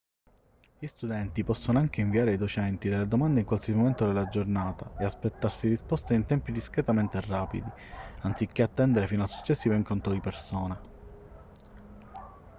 gli studenti possono anche inviare ai docenti delle domande in qualsiasi momento della giornata e aspettarsi risposte in tempi discretamente rapidi anziché attendere fino al successivo incontro di persona